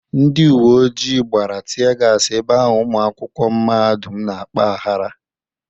Ndị uwe ojii gbara tie gas ebe ahụ ụmụakwụkwọ mahadụm na-akpa ahara.